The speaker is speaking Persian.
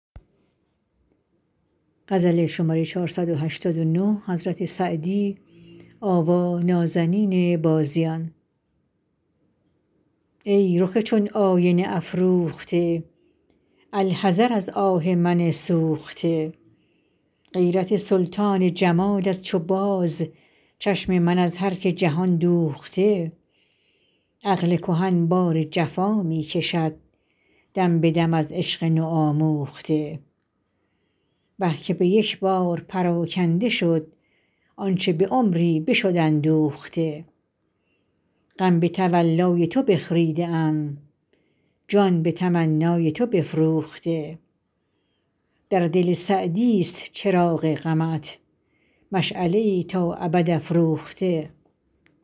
ای رخ چون آینه افروخته الحذر از آه من سوخته غیرت سلطان جمالت چو باز چشم من از هر که جهان دوخته عقل کهن بار جفا می کشد دم به دم از عشق نوآموخته وه که به یک بار پراکنده شد آنچه به عمری بشد اندوخته غم به تولای تو بخریده ام جان به تمنای تو بفروخته در دل سعدیست چراغ غمت مشعله ای تا ابد افروخته